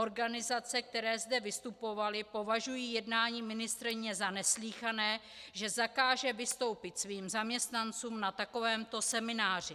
Organizace, které zde vystupovaly, považují jednání ministryně za neslýchané, že zakáže vystoupit svým zaměstnancům na takovémto semináři.